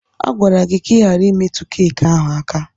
A gwara gị ka ị ghara imetụ keki ahụ aka!